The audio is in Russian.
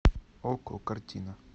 окко картина